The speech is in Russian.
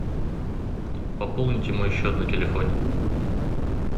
пополните мой счет на телефоне